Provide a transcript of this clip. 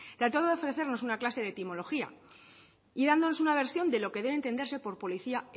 trataba de ofrecernos una clase de etimología y dándonos una versión de lo que debe entenderse por policía